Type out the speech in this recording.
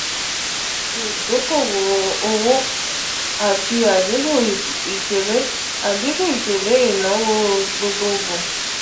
ṣe idoko-owo ati adinku ipele adinku ipele adinku ipele inawo gbogbogbo.